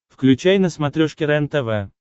включай на смотрешке рентв